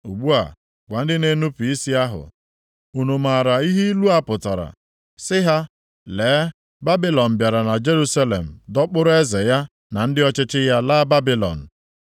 “Ugbu a, gwa ndị nnupu isi ahụ, ‘unu maara ihe ilu a pụtara?’ Sị ha, ‘Lee, Babilọn bịara na Jerusalem dọkpụrụ eze ya na ndị ọchịchị ya laa Babilọn.